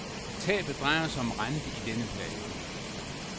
Tabet drejer sig om rente i denne periode.